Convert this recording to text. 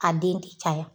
A den ti caya